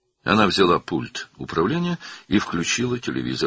O, pultu götürüb televizoru açdı.